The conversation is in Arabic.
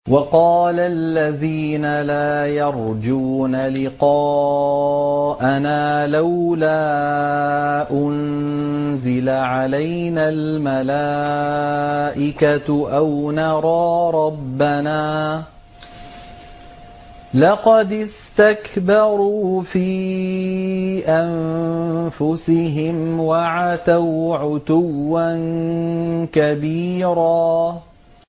۞ وَقَالَ الَّذِينَ لَا يَرْجُونَ لِقَاءَنَا لَوْلَا أُنزِلَ عَلَيْنَا الْمَلَائِكَةُ أَوْ نَرَىٰ رَبَّنَا ۗ لَقَدِ اسْتَكْبَرُوا فِي أَنفُسِهِمْ وَعَتَوْا عُتُوًّا كَبِيرًا